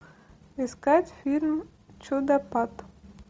искать фильм чудопад